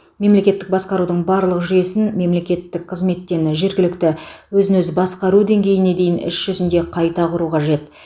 мемлекеттік басқарудың барлық жүйесін мемлекеттік қызметтен жергілікті өзін өзі басқару деңгейіне дейін іс жүзінде қайта құру қажет